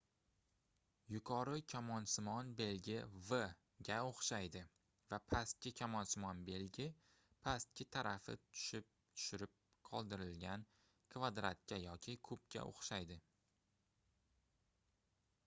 yuqori kamonsimon belgi v ga oʻxshaydi va pastki kamonsimon belgi pastki tarafi tushirib qoldirilgan kvadratga yoki kubga oʻxshaydi